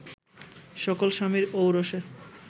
সকল স্বামীর ঔরসে